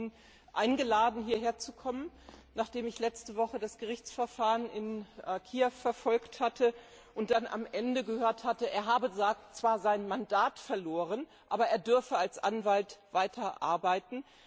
Ich hatte ihn eingeladen, hierher zu kommen, nachdem ich letzte Woche das Gerichtsverfahren in Kiew verfolgt und dann am Ende gehört hatte, er habe zwar sein Mandat verloren, aber er dürfe als Anwalt weiter arbeiten.